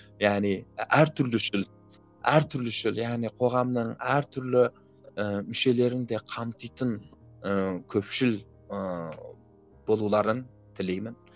яғни әртүрлі яғни коғамның әртүрлі ііі мүшелерін де қамтитын ыыы көпшіл ыыы болуларын тілеймін